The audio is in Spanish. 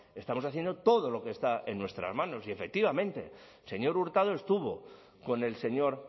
estamos haciendo todo lo que está en nuestras manos y efectivamente el señor hurtado estuvo con el señor